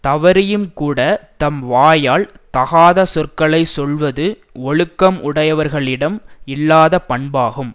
தவறியும்கூடத் தம் வாயால் தகாத சொற்களை சொல்வது ஒழுக்கம் உடையவர்களிடம் இல்லாத பண்பாகும்